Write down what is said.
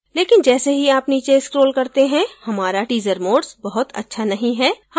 लेकिन जैसे ही आप नीचे scroll करते हैं हमारा teaser modes बहुत अच्छा नहीं है